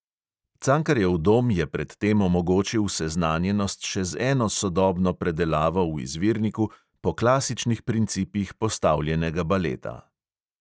Cankarjev dom je pred tem omogočil seznanjenost še z eno sodobno predelavo v izvirniku po klasičnih principih postavljenega baleta.